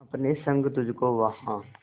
अपने संग तुझको वहां